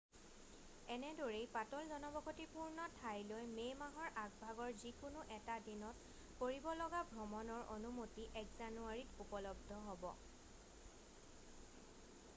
এনেদৰেই পাতল জনবসতিপূৰ্ণ ঠাইলৈ মে' মাহৰ আগভাগৰ যিকোনো এটা দিনত কৰিব লগা ভ্ৰমণৰ অনুমতি 1 জানুৱাৰীত উপলব্ধ হ'ব